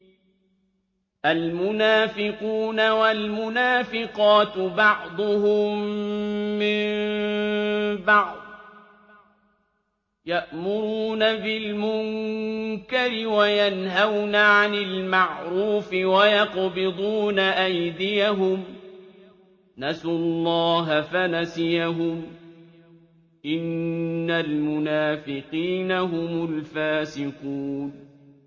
الْمُنَافِقُونَ وَالْمُنَافِقَاتُ بَعْضُهُم مِّن بَعْضٍ ۚ يَأْمُرُونَ بِالْمُنكَرِ وَيَنْهَوْنَ عَنِ الْمَعْرُوفِ وَيَقْبِضُونَ أَيْدِيَهُمْ ۚ نَسُوا اللَّهَ فَنَسِيَهُمْ ۗ إِنَّ الْمُنَافِقِينَ هُمُ الْفَاسِقُونَ